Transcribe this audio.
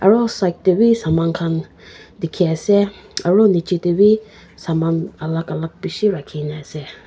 Aro side dae bhi saman khan dekhey ase aro nechi dae bhi saman alak alak beshi rakhina ase.